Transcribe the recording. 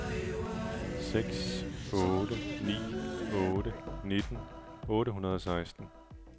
seks otte ni otte nitten otte hundrede og seksten